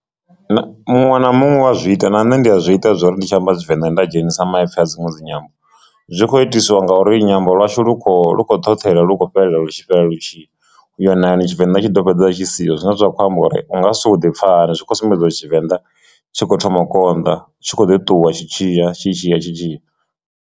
Muṅwe na muṅwe u a zwi ita na nṋe ndi a zwi ita zwori ndi tshi amba Tshivenda nda dzhenisa maipfhi a dziṅwe dzi nyambo zwi kho itiswa ngauri nyambo lwashu lu kho lu khou ṱhoṱhelwa lukho fhelela lwu tshi fhela lu u ya nani Tshivenḓa tshi ḓo fhedziselaa tshi siho zwine zwa khou amba uri unga soko ḓi pfha hani zwi khou sumbedziwa Tshivenḓa tshi kho thoma konḓa tshi kho ḓo ṱuwa tshi tshiya tshi tshiya.